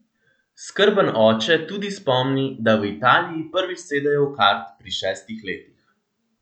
Skrben oče tudi spomni, da v Italiji prvič sedejo v kart pri šestih letih.